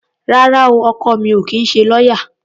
Rárá o, ọkọ mi ò kì í ṣe lọ́yá.